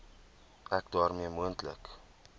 ek daarmee moontlike